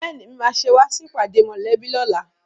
Bẹ́ẹ̀ni, Èmi máa ṣe wá sí ìpàdé mòlẹ́bí lóla